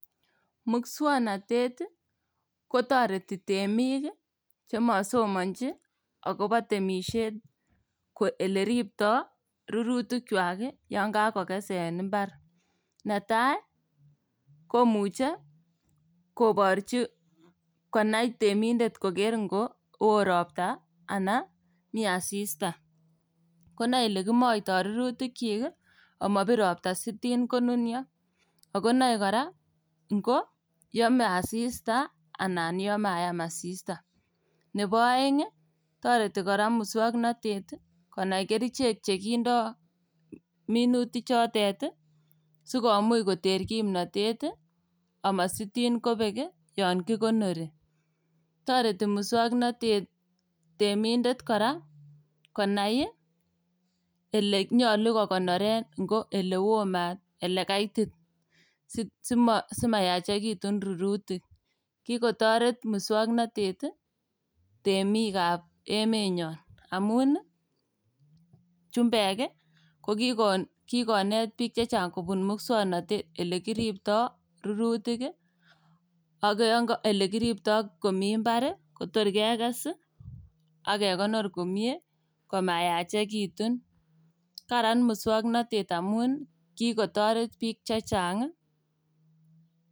Muswoknotet ii kotoreti temik ii chemosomonji agobo temisiet ak oleripto rurutikwak yon kagokes en mbar. Netai ii komuche koborchi koker temindet kotko oo ropta alan mi asista, konoe olekimoito rurtikyik omobir ropta sitin konunio ago noe kora ingo yome asista anan yon mayam asista. Nebo oeng' toreti kora muswoknotet konai kerichek chekindo minutikchotet sikomuch koter kimnotet omositin kobek yon kikonori. Toreti muswoknotet temindet kora konai olenyolu kokonoren ngo ilewo maat ala ilekaitit ii simo simayachekitun rurutik. Kikotoret muswoknotet temikab emenyon amun chumbek ii koki kokikonet biik chechang' kobun muswoknotet elekiripto rurutik ii ak yonko olekiripto komi mbar kotor kekes ak kekonor komie komayachekitun, karan muswoknotet amun kikotoret biik chechang'ii.